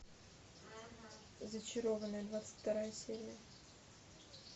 зачарованные двадцать вторая серия